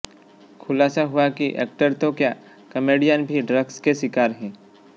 खुलासा हुआ कि एक्टर तो क्या काॅमेडियन भी ड्रग्स के शिकार हैं